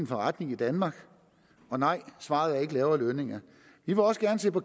forretning i danmark og nej svaret er ikke lavere lønninger vi vil også gerne se på